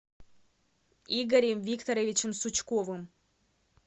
игорем викторовичем сучковым